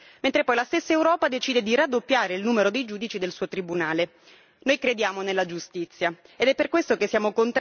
Noi crediamo nella giustizia ed è per questo che siamo contrari a questa riforma che Consiglio e Parlamento stanno portando a termine con un'insolita fretta.